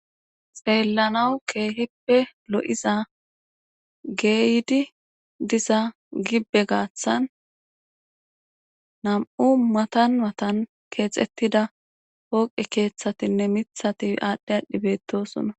xeellanawu keehippe lo'iza geeydi diza gibbe gaaththan nam'u matan matan keexettida hooqe keeththatinne mithati aadhdhi aadhdhi beettosona.